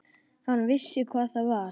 Hann vissi hvað það var.